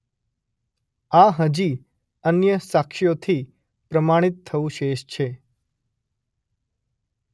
આ હજી અન્ય સાક્ષ્યોથી પ્રમાણિત થવું શેષ છે.